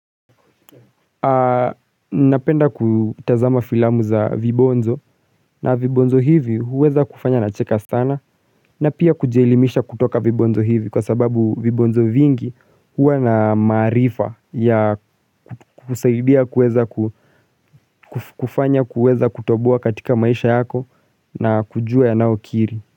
Napenda kutazama filamu za vibonzo na vibonzo hivi huweza kufanya na cheka sana na pia kujielimisha kutoka vibonzo hivi kwa sababu vibonzo vingi huwa na maarifa ya kusaidia kuweza kufanya kuweza kutoboa katika maisha yako na kujua ya nao kiri.